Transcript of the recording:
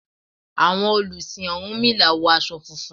Àwọn olùsìn ọ̀rúnmìlà wọ aṣọ funfun.